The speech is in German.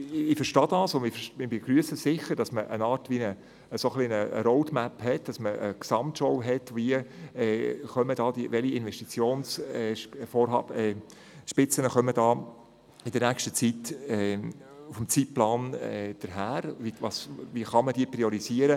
Ich verstehe das Anliegen, und ich begrüsse eine Art Roadmap, eine Gesamtschau, die aufzeigt, welche Investitionssummen in der nächsten Zeit auf uns zukommen und wie sie priorisiert werden können.